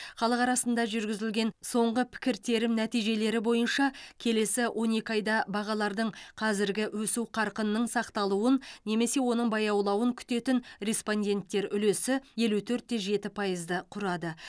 халық арасында жүргізілген соңғы пікіртерім нәтижелері бойынша келесі он екі айда бағалардың қазіргі өсу қарқынының сақталуын немесе оның баяулауын күтетін респонденттер үлесі елу төртте жеті пайызды құрады